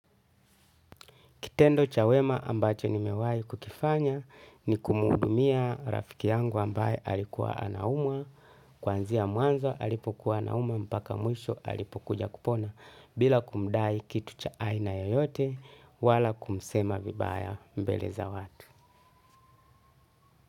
Kitendo cha wema ambacho nimewahi kukifanya ni kuhudumia rafiki yangu ambaye alikuwa anaumwa. Kuanzia mwanzwa alipokuwa anaumwa mpaka mwisho alipokuja kupona bila kumdai kitu cha aina yoyote wala kumsema vibaya mbele za watu.